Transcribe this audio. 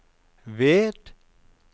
ved